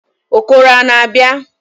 Okoro a na-abia?